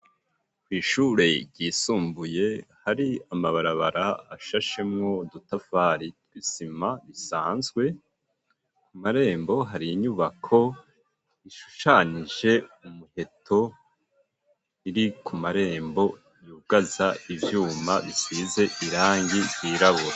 Kw'ishure ryisumbuye hari amabarabara ashashemwo udutafari twisima bisanzwe ku marembo hari inyubako ishushanije umuheto iri ku marembo yugaza ivyuma bisize irangi ryirabura.